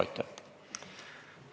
Aitäh!